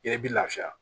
I yɛrɛ bi lafiya